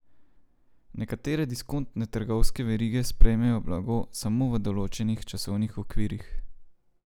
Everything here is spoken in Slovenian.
Nekatere diskontne trgovske verige sprejmejo blago samo v določenih časovnih okvirih.